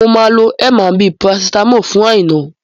Mo máa lo M&B paracetamol fún Aina